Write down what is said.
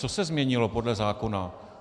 Co se změnilo podle zákona?